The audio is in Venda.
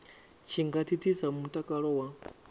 tshi nga thithisa mutakalo wa